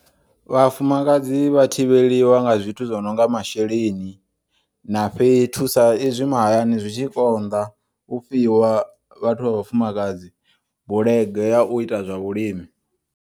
Vhafumakadzi vha thivheliwa nga zwithu zwononga masheleni, na fhethu sa izwi mahayani zwi tshi konḓa u fhiwa vhathu vha vhafumakadzi bulege ya u ita zwa vhuimi.